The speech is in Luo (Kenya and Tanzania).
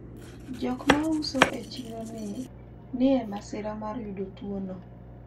jok mauso e chiro ni e masira mar yudo tuwono